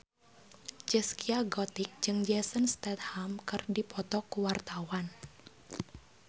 Zaskia Gotik jeung Jason Statham keur dipoto ku wartawan